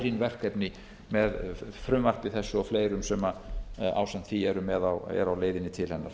ærin verkefni með frumvarpi þessu og fleirum sem ásamt því eru á leiðinni til hennar